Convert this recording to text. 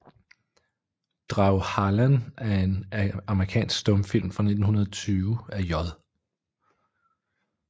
Drag Harlan er en amerikansk stumfilm fra 1920 af J